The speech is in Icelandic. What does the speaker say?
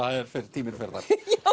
tíminn fer þar